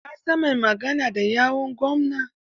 Ka san mai magana da yawun gwamna?